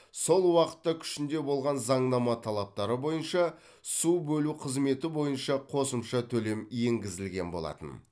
сол уақытта күшінде болған заңнама талаптары бойынша су бөлу қызметі бойынша қосымша төлем енгізілген болатын